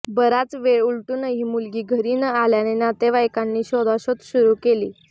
बराच वेळ उलटूनही मुलगी घरी न आल्याने नातेवाईकांनी शोधाशोध सुरू केली